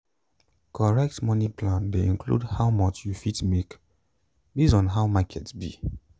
correct moni plan dey include how much you fit make based on how market be.